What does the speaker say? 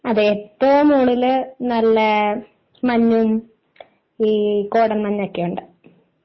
അതെ ഏറ്റവും മുകളിൽ നല്ല മഞ്ഞും ഈ കോടമഞ്ഞ് ഒക്കെ ഉണ്ട്.